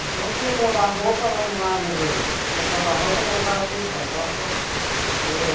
Então, se ia provar roupa lá no lado do, se ia provar roupa, voltava para o ensaio.